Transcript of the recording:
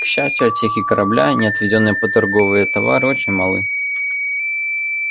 к счастью отсеки корабля не отведённые под торговые товары очень малы